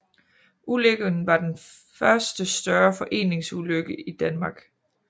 Ulykken var den første større forureningsulykke i Danmark